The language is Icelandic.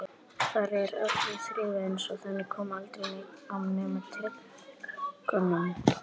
Þar er öllu þrifalegra, eins og þangað komi aldrei neinn nema á tyllidögum.